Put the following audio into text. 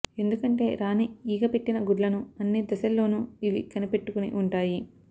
ఎందుకంటే రాణి ఈగ పెట్టిన గుడ్లను అన్ని దశల్లోనూ ఇవి కనిపెట్టుకుని ఉంటాయి